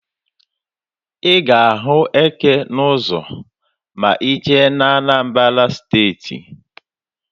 Ị ga-ahụ eke n'ụzọ ma ị jee na Anambara Steeti.